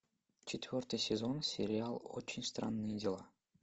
четвертый сезон сериал очень странные дела